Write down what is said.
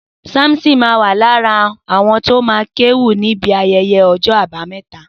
Samson ma wà lára àwọn tó ma kéwì níbi ayẹyẹ ní ọjọ́ àbámẹ́ta.